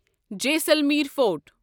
Jaisalmer fort